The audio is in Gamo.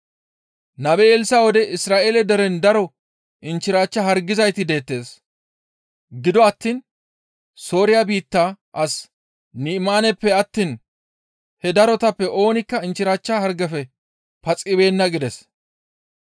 Nabe Elssa7e wode Isra7eele deren daro inchchirachcha hargizayti deettes; gido attiin Sooriya biitta as Ni7imaaneppe attiin he darotappe oonikka inchchirachcha hargefe paxibeenna» gides.